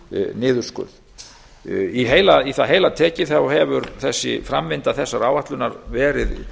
niðurskurð í það heila tekið hefur framvinda þessarar áætlunar verið